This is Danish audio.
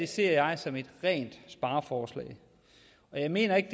ser jeg som et rent spareforslag jeg mener ikke